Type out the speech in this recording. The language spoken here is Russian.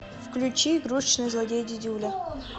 включи игрушечный злодей дидюля